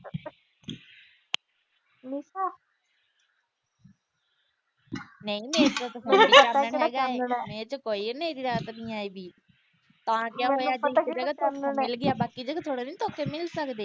ਨਈ ਨਈ ਕੋਈ ਅੰਧੇਰੀ ਰਾਤ ਨੀ ਆਈ ਵੀ। ਤਾਂ ਕਿਆ ਹੋਇਆ ਜੇ ਇਕ ਜਗਾ ਧੋਖਾ ਮਿਲ ਗਿਆ ਬਾਕੀ ਥੋੜੇ ਦਿਨ ਧੋਖੇ ਮਿਲ ਸਕਦੇ।